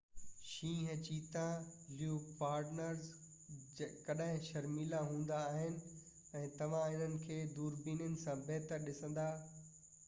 شينهن چيتا ۽ ليوپارڊز ڪڏهن شرميلا هوندا آهن ۽ توهان انهن کي دوربينن سان بهتر ڏسندا